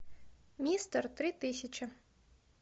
мистер три тысячи